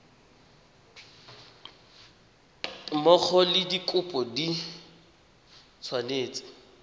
mmogo le dikopo di tshwanetse